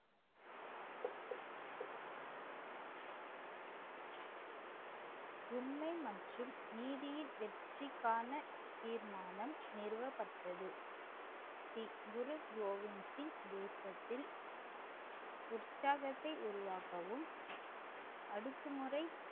உண்மை மற்றும் நீதியின் வெற்றிக்கான தீர்மானம் நிறுவப்பட்டது ஸ்ரீ குரு கோவிந்த் சிங் தேசத்தில் உற்சாகத்தை உருவாக்கவும் அடக்குமுறை